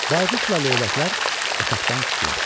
Bayquşla leyləklər otaqdan çıxdılar.